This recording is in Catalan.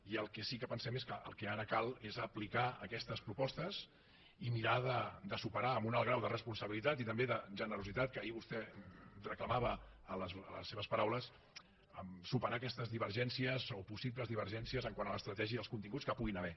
i el que sí que pensem és que el que ara cal és aplicar aquestes propostes i mirar de superar amb un alt grau de responsabilitat i també de generositat que ahir vostè reclamava en les seves paraules superar aquestes divergències o possibles divergències quant a l’estratègia i als continguts que hi puguin haver